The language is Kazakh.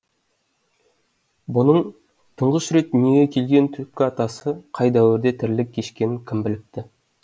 бұның тұңғыш рет дүниеге келген түпкі атасы қай дәуірде тірлік кешкенін кім біліпті